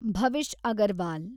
Bhavish Agarwal